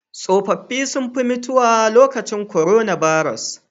Tsofafi sun fi mutuwa lokacin korona baros.